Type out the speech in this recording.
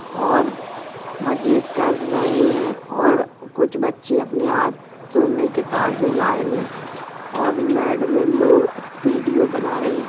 और मजे कर रहे हैं और कुछ बच्चे अपने हाथों में किताबें लाए हुए हैं। मैम लोग पीडिएफ बना रही हैं ।